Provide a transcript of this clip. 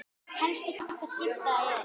Helstu flokkar skipa eru